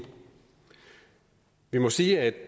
vi må sige at